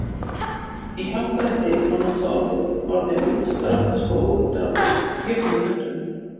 í happdrætti má nota orðin útdrátt og úrdrátt jöfnum höndum